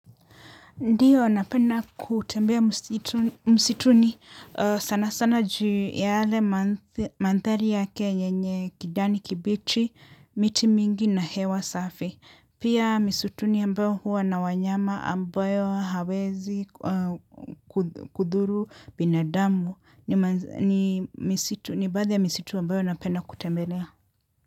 Ndiyo, napena kutembea msituni sana sana juu ya yale manthari yake yenye kijani kibichi, miti mingi na hewa safi. Pia misutuni ambayo huwa na wanyama ambayo hawezi kudhuru binadamu ni ni baadhi ya misitu ambayo napena kutembelea.